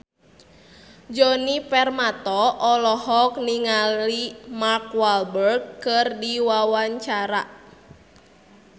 Djoni Permato olohok ningali Mark Walberg keur diwawancara